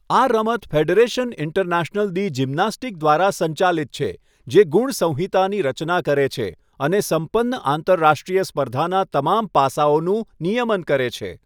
આ રમત Federation International દી જિમનાસ્ટિક દ્વારા સંચાલિત છે, જે ગુણ સંહિતાની રચના કરે છે અને સંપન્ન આંતરરાષ્ટ્રીય સ્પર્ધાનાં તમામ પાસાંઓનું નિયમન કરે છે.